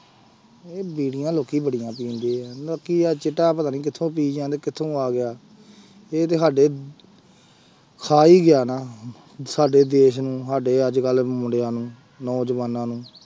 ਇਹ ਬੀੜੀਆਂ ਲੋਕੀ ਬੜੀਆਂ ਪੀਂਦੇ ਆ, ਬਾਕੀ ਆਹ ਚਿੱਟਾ ਪਤਾ ਨੀ ਕਿੱਥੋਂ ਪੀ ਜਾਂਦਾ ਕਿੱਥੋਂ ਆ ਗਿਆ ਇਹ ਤੇ ਸਾਡੇ ਖਾ ਹੀ ਗਿਆ ਨਾ ਸਾਡੇ ਦੇਸ ਨੂੰ, ਸਾਡੇ ਅੱਜ ਕੱਲ੍ਹ ਦੇ ਮੁੰਡਿਆਂ ਨੂੰ, ਨੌਜਵਾਨਾਂ ਨੂੰ।